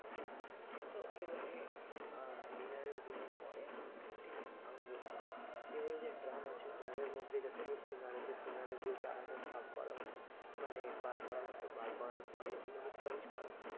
তো এবারে আহ dinner এ dinner পরে ঠিক আমরা বসতাম এবার যে ড্রাম আছে ড্রাম এর মধ্যে যতগুলো সিঙ্গারা আছে সিঙ্গারা দিয়ে ভাগ করা হতো মানে বার করা হতো বার করার পরে ওগুলোকে crunch করা হতো